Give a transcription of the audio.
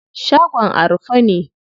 Shagon a rufe ne.